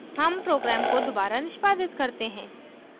हम program को दोबारा निष्पादित करते हैं